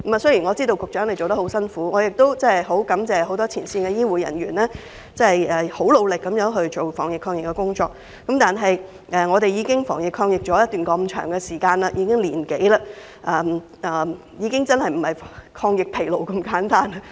雖然我知道局長做得很辛苦，我亦很感謝一眾前線醫護人員努力地防疫抗疫，但香港已經防疫抗疫長達1年多，現在的情況已不是"抗疫疲勞"那麼簡單。